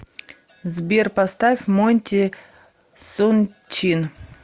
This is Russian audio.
сбер поставь монти саншайн